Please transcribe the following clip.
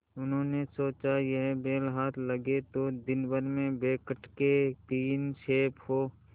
उन्होंने सोचा यह बैल हाथ लगे तो दिनभर में बेखटके तीन खेप हों